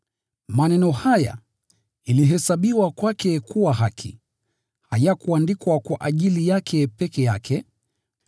Maneno haya “ilihesabiwa kwake kuwa haki,” hayakuandikwa kwa ajili yake peke yake,